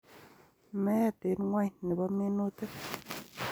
Meet eng' ng'wony ne bo minutik